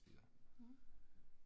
Mh